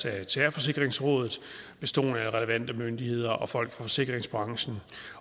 af terrorforsikringsrådet bestående af relevante myndigheder og folk fra forsikringsbranchen